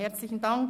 Herzlichen Dank